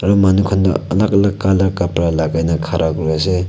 manu khan toh alag alag color kapura lagai na khara kuri ase.